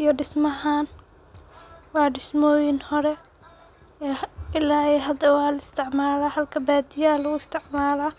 iyo dismahan, wa dismoyihin hore ila iyo hada wa la isticmalah halka badiyaha lagu isticmaloh.